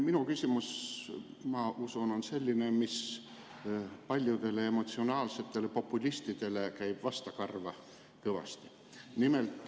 Minu küsimus, ma usun, on selline, mis paljudele emotsionaalsetele populistidele on kõvasti vastukarva.